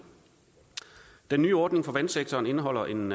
den nye ordning for vandsektoren indeholder en